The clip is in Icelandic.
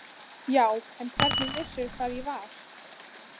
Já en hvernig vissirðu hvar ég var?